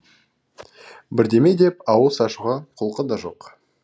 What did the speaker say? бірдеме деп ауыз ашуға құлқы да жоқ